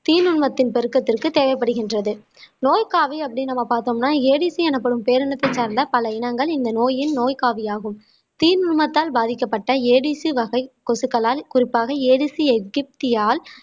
தீநுண்மத்தின் பெருக்கத்திற்கு தேவைப்படுகின்றது நோய் காவி அப்படின்னு நம்ம பார்த்தோம்னா ADC எனப்படும் பேரினத்தை சார்ந்த பல இனங்கள் இந்த நோயின் நோய் காவியாகும் தீநுண்மத்தால் பாதிக்கப்பட்ட ADC வகை கொசுக்களால் குறிப்பாக ADC எகிப்தியால்